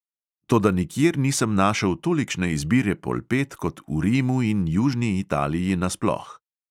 Toda nikjer nisem našel tolikšne izbire polpet kot v rimu in južni italiji nasploh.